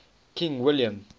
king william